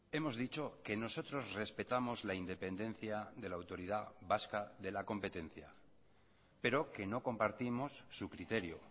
hemos dicho que nosotros respetamos la independencia de la autoridad vasca de la competencia pero que no compartimos su criterio